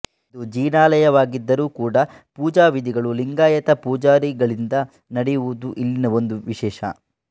ಇದು ಜಿನಾಲಯವಾಗಿದ್ದರೂ ಕೂಡಾ ಪೂಜಾ ವಿಧಿಗಳು ಲಿಂಗಾಯತ ಪೂಜಾರಿಗಳಿಂದ ನಡೆಯುವುದು ಇಲ್ಲಿನ ಒಂದು ವಿಶೇಷ